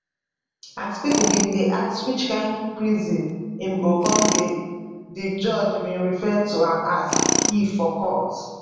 as pipo bin dey ask which kain prison im go come dey di judge bin refer to am as he for court